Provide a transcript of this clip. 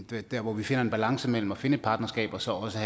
være der hvor vi finder en balance mellem at finde et partnerskab og så også